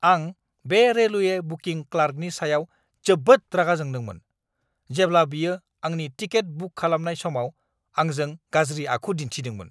आं बे railway booking क्लार्कनि सायाव जोबोद रागा जोंदोंमोन, जेब्ला बियो आंनि टिकेट बुक खालामनाय समाव आंजों गाज्रि आखु दिन्थिदोंमोन!